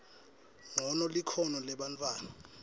ncono likhono lebantfwana